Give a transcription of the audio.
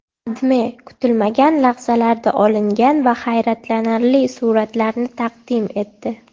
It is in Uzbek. AdMe kutilmagan lahzalarda olingan va hayratlanarli suratlarni taqdim etdi .